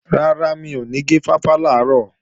Rárá, mi ò ní gé fáfá làárọ̀